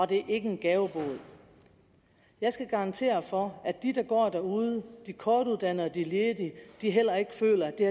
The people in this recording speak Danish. det ikke er en gavebod jeg skal garantere for at de der går derude de kortuddannede og de ledige heller ikke føler at det